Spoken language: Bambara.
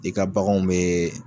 I ka baganw mɛ